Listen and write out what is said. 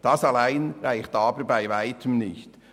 Das allein reicht aber bei Weitem nicht.